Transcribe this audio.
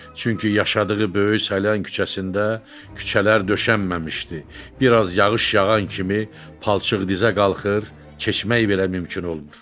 Çünki yaşadığı böyük Saylan küçəsində küçələr döşənməmişdi, biraz yağış yağan kimi palçıq dizə qalxır, keçmək belə mümkün olmur.